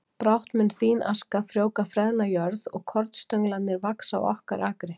Brátt mun þín aska frjóvga freðna jörð og kornstönglarnir vaxa á okkar akri